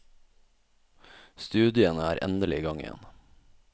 Studiene er endelig i gang igjen.